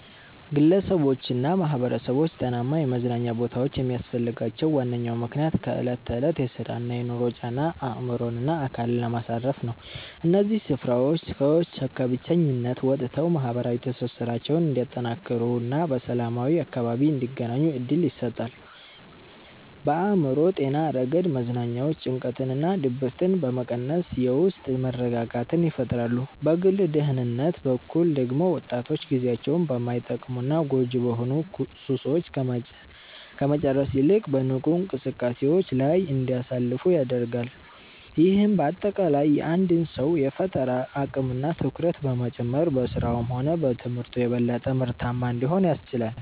ግለሰቦችና ማኅበረሰቦች ጤናማ የመዝናኛ ቦታዎች የሚያስፈልጋቸው ዋነኛው ምክንያት ከዕለት ተዕለት የሥራና የኑሮ ጫና አእምሮንና አካልን ለማሳረፍ ነው። እነዚህ ስፍራዎች ሰዎች ከብቸኝነት ወጥተው ማኅበራዊ ትስስራቸውን እንዲያጠናክሩና በሰላማዊ አካባቢ እንዲገናኙ ዕድል ይሰጣሉ። በአእምሮ ጤና ረገድ መዝናኛዎች ጭንቀትንና ድብርትን በመቀነስ የውስጥ መረጋጋትን ይፈጥራሉ። በግል ደህንነት በኩል ደግሞ ወጣቶች ጊዜያቸውን በማይጠቅሙና ጎጂ በሆኑ ሱሶች ከመጨረስ ይልቅ በንቁ እንቅስቃሴዎች ላይ እንዲያሳልፉ ያደርጋሉ። ይህም በአጠቃላይ የአንድን ሰው የፈጠራ አቅምና ትኩረት በመጨመር በሥራውም ሆነ በትምህርቱ የበለጠ ምርታማ እንዲሆን ያስችላል።